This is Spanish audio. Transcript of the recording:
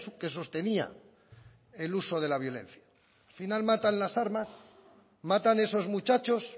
que sostenía el uso de la violencia al final matan las armas matan esos muchachos